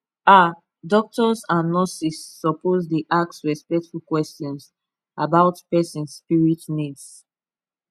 ah doctors and nurses suppose dey ask respectful questions about person spirit needs